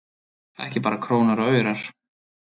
Ekki bara krónur og aurar